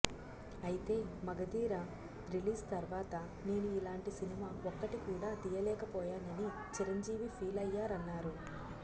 అయితే మగధీర రిలీజ్ తర్వాత నేను ఇలాంటి సినిమా ఒక్కటి కూడా తీయలేకపోయానని చిరంజీవి ఫీల్ అయ్యారన్నారు